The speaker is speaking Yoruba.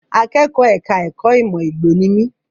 Akẹ́kọ̀ọ́ ẹ̀ka ẹ̀kó ìmọ̀ Igbo ni mi.